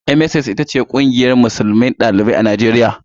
MSSN ita ce kungiyar dalibai musulmai a najeriya.